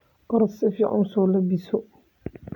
Orodh si ficn usolabizo.